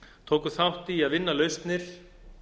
tóku þátt í að vinna lausnir